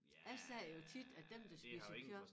Jeg siger jo tit at dem der spiser kød